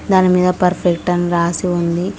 దాని మీద పర్ఫెక్ట్ అని రాసి ఉంది.